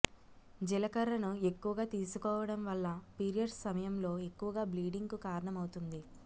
జీలకర్రను ఎక్కువగా తీసుకోవడం వల్ల పీరియడ్స్ సమయంలో ఎక్కువగా బ్లీడింగ్ కు కారణమవుతుంది